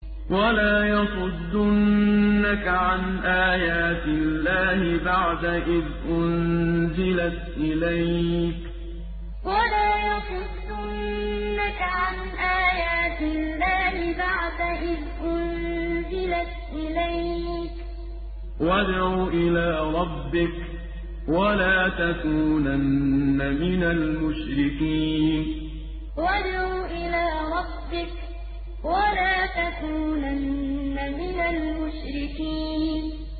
وَلَا يَصُدُّنَّكَ عَنْ آيَاتِ اللَّهِ بَعْدَ إِذْ أُنزِلَتْ إِلَيْكَ ۖ وَادْعُ إِلَىٰ رَبِّكَ ۖ وَلَا تَكُونَنَّ مِنَ الْمُشْرِكِينَ وَلَا يَصُدُّنَّكَ عَنْ آيَاتِ اللَّهِ بَعْدَ إِذْ أُنزِلَتْ إِلَيْكَ ۖ وَادْعُ إِلَىٰ رَبِّكَ ۖ وَلَا تَكُونَنَّ مِنَ الْمُشْرِكِينَ